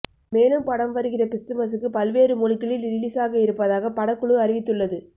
மேலும் படம் வருகிற கிறிஸ்துமசுக்கு பல்வேறு மொழிகளில் ரிலீசாக இருப்பதாக படக்குழு அறிவித்துள்ளது